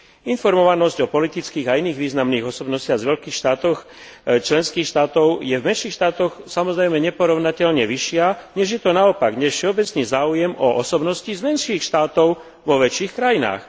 Informovanosť o politických a iných významných osobnostiach z veľkých členských štátov je v menších štátoch samozrejme neporovnateľne vyššia, než je to naopak, než všeobecný záujem o osobnosti z menších štátov vo väčších krajinách.